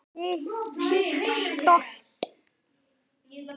Sitt stolt.